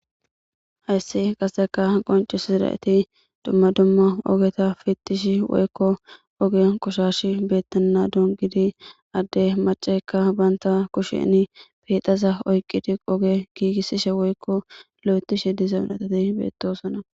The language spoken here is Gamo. Hayse qassikka qonccissida etika dumma dumma ogeta pittishe woykko ogiya qoshashay beettenadan giddi adde maccaykka bantta kushen pheetaza oykide oge giigisesha woyko lo'itteshe diza giddidi be'etosona.